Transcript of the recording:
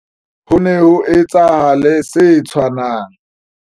Ho ne ho etsahale se tshwanang.